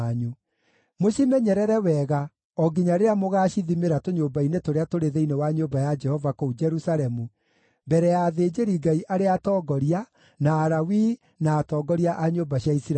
Mũcimenyerere wega o nginya rĩrĩa mũgaacithimĩra tũnyũmba-inĩ tũrĩa tũrĩ thĩinĩ wa nyũmba ya Jehova kũu Jerusalemu mbere ya athĩnjĩri-Ngai arĩa atongoria, na Alawii, na atongoria a nyũmba cia Isiraeli.”